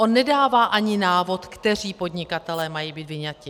On nedává ani návod, kteří podnikatelé mají být vyňati.